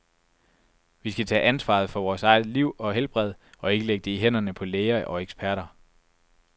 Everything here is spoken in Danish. Vi skal tage ansvaret for vores eget liv og helbred, og ikke lægge det i hænderne på læger og eksperter.